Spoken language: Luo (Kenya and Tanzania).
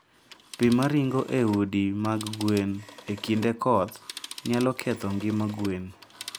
Pi ma ringo e udi mag gwen e kinde koth, nyalo ketho ngima gwen.